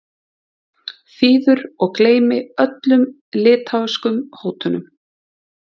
þýður og gleymi öllum litháískum hótunum.